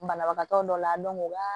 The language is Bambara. Banabagatɔ dɔ la o b'a